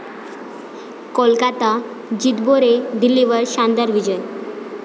कोलकाता 'जितबो रे', दिल्लीवर शानदार विजय